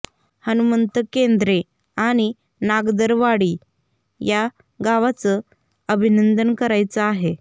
हनुमंत केंद्रे आणि नागदरवाडी या गावाचं अभिनंदन करायचं आहे